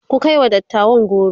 ku kaiwa dattawan goro!